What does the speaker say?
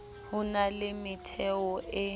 ho na le metheo e